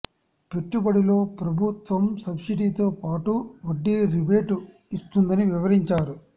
పెట్టుబడిలో ప్రభు త్వం సబ్సిడీతో పాటు వడ్డీ రిబేటు ఇ స్తుందని వివరించారు